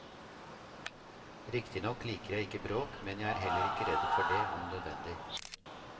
Riktignok liker jeg ikke bråk, men jeg er heller ikke redd for det om nødvendig.